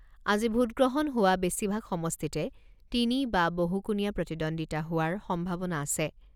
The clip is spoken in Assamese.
আজি ভোটগ্ৰহণ হোৱা বেছিভাগ সমষ্টিতে তিনি বা বহু কোণীয়া প্ৰতিদ্বন্দ্বিতা হোৱাৰ সম্ভাৱনা আছে।